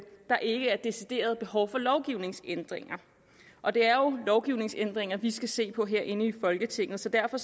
der ikke er decideret behov for lovgivningsændringer og det er jo lovgivningsændringer vi skal se på herinde i folketinget så derfor